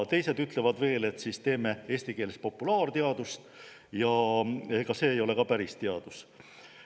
"Teised ütlevad, teeme siis eesti keeles populaarteadust, aga see ei ole jällegi teadus.